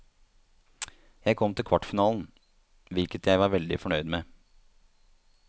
Jeg kom til kvartfinalen, hvilket jeg var veldig fornøyd med.